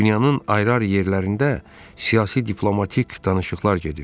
Dünyanın ayrı-ayrı yerlərində siyasi diplomatik danışıqlar gedir.